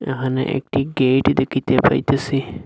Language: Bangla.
এহানে একটি গেইট দেখিতে পাইতেসি।